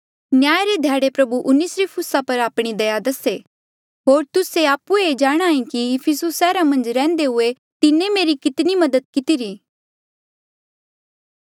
न्याय रे ध्याड़े प्रभु उनेसिफुरुस पर आपणी दया दसे होर तुस्से आप्हुए जाणांहे कि इफिसुस सैहरा मन्झ रैहन्दे हुए तिन्हें मेरी कितनी मदद कितिरी